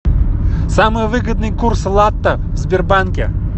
самый выгодный курс лата в сбербанке